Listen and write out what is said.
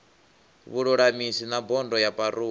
vhululamisi na bodo ya parole